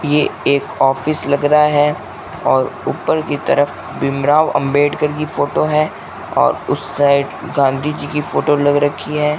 ये एक ऑफिस लग रहा है और ऊपर की तरफ भीम राव अंबेडकर की फोटो है और उस साइड गांधी जी की फोटो लग रखी है।